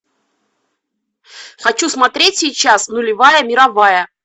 хочу смотреть сейчас нулевая мировая